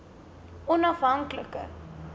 onafhanklike